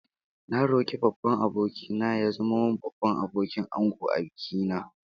Na roki babban aboki na ya zama min Babban Abokin Angon a biki na